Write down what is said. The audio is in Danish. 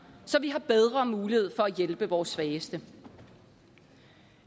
så vi har bedre mulighed for at hjælpe vores svageste